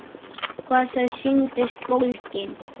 Hvað þau sýndust bólgin!